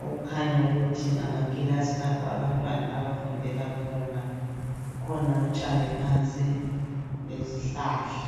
okukhanya ukuthi ngamakilasi lapho abantwana abafundela khona .Kukhona utshani phansi lezihlahla.